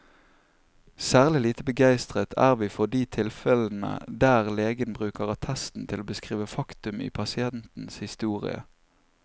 Særlig lite begeistret er vi for de tilfellene der legen bruker attesten til å beskrive faktum i pasientens historie.